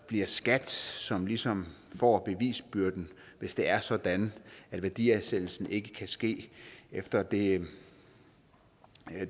bliver skat som ligesom får bevisbyrden hvis det er sådan at værdiansættelsen ikke kan ske efter det